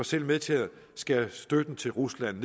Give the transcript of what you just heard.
selv med til at skære støtten til rusland